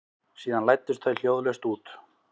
Síðan læddust þau hljóðlaust út.